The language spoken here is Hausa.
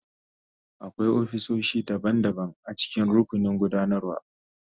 Akwai ofisoshi daban-daban a cikin rukunin gudanarwa.